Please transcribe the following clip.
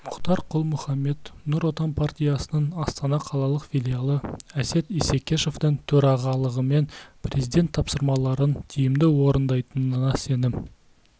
мұхтар құл-мұхаммед нұр отан партиясының астана қалалық филиалы әсет исекешевтің төрағалығымен президент тапсырмаларын тиімді орындайтынына сенім